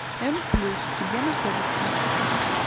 м плюс где находится